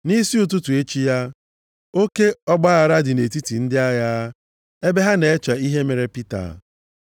Nʼisi ụtụtụ echi ya, oke ọgbaaghara dị nʼetiti ndị agha, ebe ha na-eche ihe mere Pita.